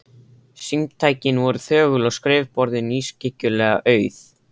Símtækin voru þögul og skrifborðin ískyggilega auð.